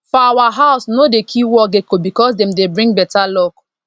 for our house we no dey kill wall gecko because dem dey bring better luck